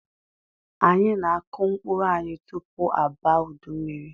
Anyị na-akụ mkpụrụ anyị tupu abaa udu mmiri.